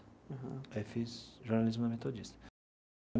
Aham. Aí fiz jornalismo na Metodista.